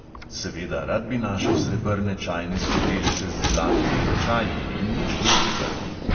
Seveda, rad bi našel srebrne čajne skodelice z zlatimi ročaji in nič drugega.